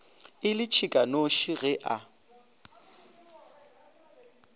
e le tšhikanoši ge a